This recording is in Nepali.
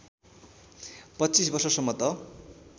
२५ वर्षसम्म त